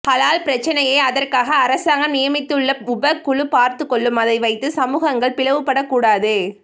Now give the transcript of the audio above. ஹலால் பிரச்சனையை அதற்காக அரசாங்கம் நியமித்துள்ள உப குழு பார்த்துக்கொள்ளும் அதை வைத்து சமூகங்கள் பிளவுபடக் கூடாது